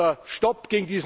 oder Stopp!